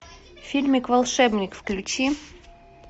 фильмик волшебник включи